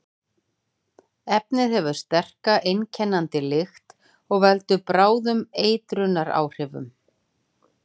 Efnið hefur sterka, einkennandi lykt og veldur bráðum eituráhrifum.